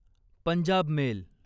Punjab mail